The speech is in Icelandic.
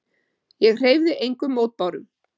Ég hreyfði engum mótbárum.